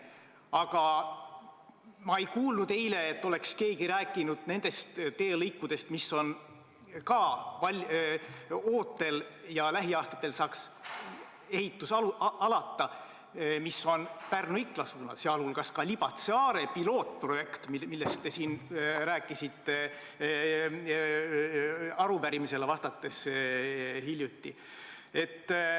Aga ma ei kuulnud eile, et keegi oleks rääkinud nendest teelõikudest, mis on ootel ja kus lähiaastatel saaks ehitus alata, mis on Pärnu–Ikla suunal, sealhulgas Libatse–Are pilootprojekt, millest te siin rääkisite hiljuti arupärimisele vastates.